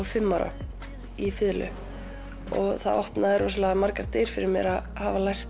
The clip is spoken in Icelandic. fimm ára í fiðlu og það opnaði margar dyr fyrir mér að hafa lært